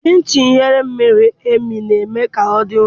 Chin Chin ighe miri emi na-eme ka ọ dị nro.